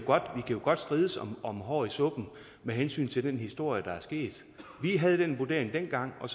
jo godt strides om hår i suppen med hensyn til den historie der er sket vi havde den vurdering dengang og